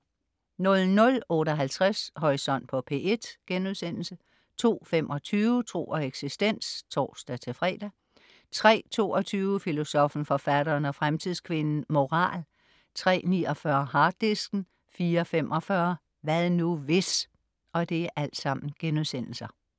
00.58 Horisont på P1* 02.25 Tro og eksistens (tors-fre)* 03.22 Filosoffen, Forfatteren og Fremtidskvinden - Moral* 03.49 Harddisken* 04.45 Hvad nu, hvis?*